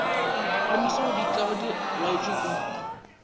le maswaodikga di laotšwe ka